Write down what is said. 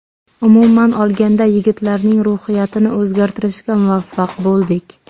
Umuman olganda yigitlarning ruhiyatini o‘zgartirishga muvaffaq bo‘ldik.